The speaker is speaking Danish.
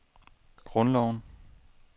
grundloven